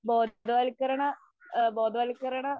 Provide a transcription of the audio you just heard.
ബോധവത്കരണ ആ ബോധവത്കരണ